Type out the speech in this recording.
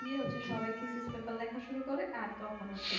ইয়ে হচ্ছে সবাই থিতিস paper লেখা শুরু করে আর তখন হচ্ছে